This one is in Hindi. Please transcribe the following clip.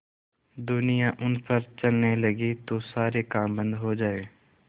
दुनिया उन पर चलने लगे तो सारे काम बन्द हो जाएँ